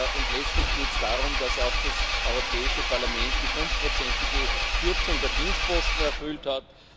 Und letztlich geht es darum, dass auch das Europäische Parlament die 5 ige Kürzung der Dienstposten erfüllt hat.